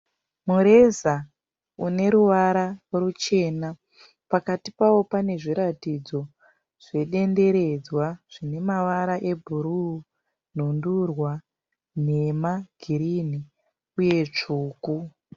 Mureza une ruvara ruchena pakati pawo pane zviratidzo zvedenderedzwa zvine mavara ebhuru, nhundurwa, nhema, girinhi uye tsvuku.